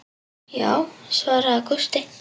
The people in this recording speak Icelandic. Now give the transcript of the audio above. Já, svaraði Gústi.